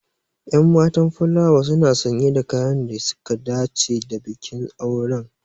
Ƴan matan fulawa suna sanye da kayan da suka dace da bikin auren.